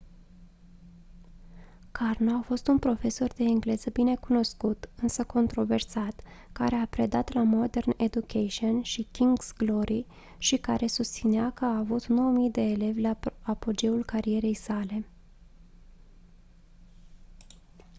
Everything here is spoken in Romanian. karno a fost un profesor de engleză binecunoscut însă controversat care a predat la modern education și king's glory și care susținea că a avut 9 000 de elevi la apogeul carierei sale